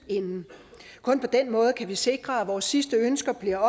kun på den måde kan vi sikre at vores sidste ønsker bliver